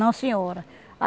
Não, senhora.